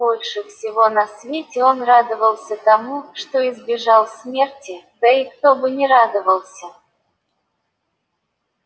больше всего на свете он радовался тому что избежал смерти да и кто бы не радовался